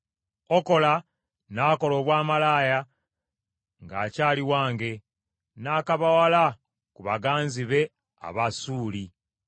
“Okola n’akola obwamalaaya ng’akyali wange, n’akabawala ku baganzi be Abasuuli,